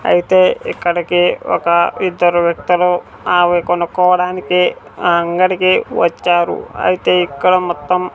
అయితే ఇక్కడికి ఒక ఇద్దరు వ్యక్తులు ఆవి కొనుక్కోవడానికి ఆ అంగడికి వచ్చారు అయితే ఇక్కడ మొత్తం--